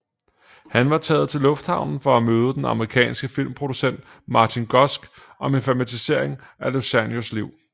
Han var taget til lufthavnen for at møde den amerikanske filmproducent Martin Gosch om en filmatisering af Lucianos liv